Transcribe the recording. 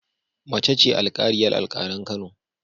Mace ce alƙaliyar alƙalan Kano